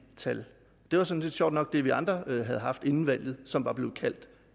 tal det var sådan set sjovt nok det vi andre havde haft inden valget og som var blevet kaldt